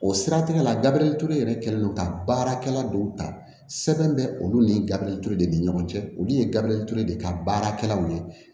O siratigɛ la gabriel ture yɛrɛ kɛlen don ka baarakɛla dɔw ta sɛbɛn bɛ olu ni gabiriyure ni ɲɔgɔn cɛ olu ye gabriel ture de ka baarakɛlaw ye